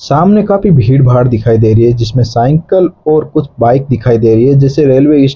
सामने काफी भीड़ भाड़ दिखाई दे रही है जिसमें साइकिल और कुछ बाइक दिखाई दे रही है जैसे रेलवे --